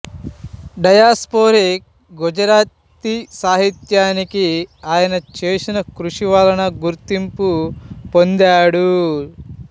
diasporic Gujarati సాహిత్యానికి ఆయన చేసిన కృషి వలన గుర్తింపు పొందాడు